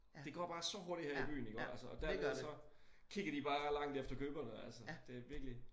Det går bare så hurtigt her i byen iggår altså og dernede så kigger de bare langt efter køberne altså det virkelig